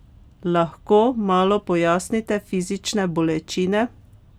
Lahko malo pojasnite fizične bolečine?